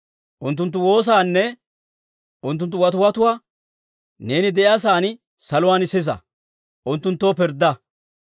unttunttu woosaanne unttunttu watiwatuwaa neeni de'iyaa sa'aan saluwaan sisa. Unttunttoo pirddaa.